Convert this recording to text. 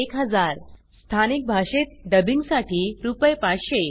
1000 स्थानिक भाषेत डब्बिंग साठी रुपये 500